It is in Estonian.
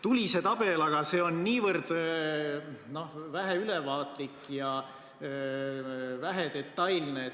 Tuli tabel, aga see oli niivõrd vähe ülevaatlik ja vähe detailne.